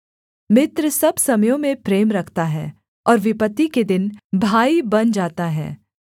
मित्र सब समयों में प्रेम रखता है और विपत्ति के दिन भाई बन जाता है